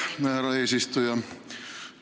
Aitäh, härra eesistuja!